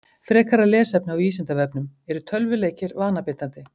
Frekara lesefni á Vísindavefnum: Eru tölvuleikir vanabindandi?